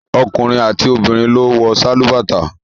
Ọkùnrin àti obìnrin ló ń wọ sálúbàtà.